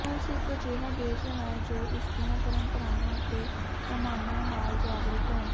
ਰੂਸ ਇਕ ਅਜਿਹਾ ਦੇਸ਼ ਹੈ ਜੋ ਇਸਦੀਆਂ ਪਰੰਪਰਾਵਾਂ ਅਤੇ ਪੈਮਾਨਿਆਂ ਨਾਲ ਜਾਗਰੂਕ ਹੈ